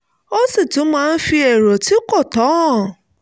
ó sì tún máa ń fi èrò tí kò tọ́ hàn